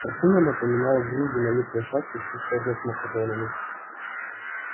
картина напоминала взрыв динамитной шашки в цистерне с макаронами